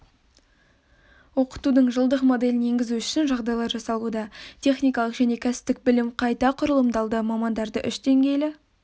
оқытудың жылдық моделін енгізу үшін жағдайлар жасалуда техникалық және кәсіптік білім қайта құрылымдалды мамандарды үш деңгейлі